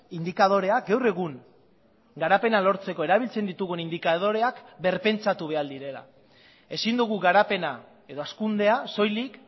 indikadorea gaur egun garapena lortzeko erabiltzen ditugun indikadoreak birpentsatu behar direla ezin dugu garapena edo hazkundea soilik